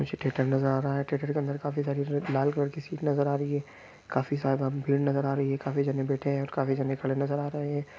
ठेठर नजर आ रहा है ठेठर के अंदर काफी सारी लाल कलर की सीट नजर आ रही है काफी ज्यादा भीड़ नजर आ रही है काफी जन बेढ़े है काफी जाने खड़े नजर आ रहे है।